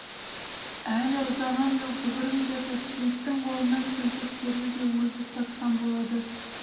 әлі ұзаған жоқ жүгіріңдер деп сейіттің қолына келтектерді де өзі ұстатқан болады